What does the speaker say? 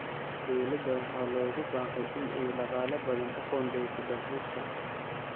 Dowladda waxaa loogu baaqay in ay dhaqaale badan u qoondeyso dalxiiska.